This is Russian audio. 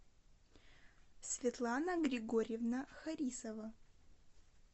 светлана григорьевна харисова